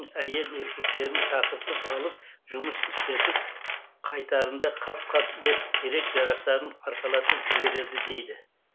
әйел еркектерін шақыртып алып жұмыс істетіп қайтарында қап қап ет керек жарақтарын арқалатып жібереді дейді